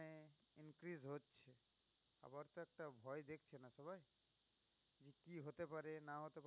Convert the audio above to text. হতে পারে না ও